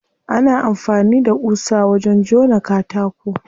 Ana amfani da ƙusa wajen jona katako.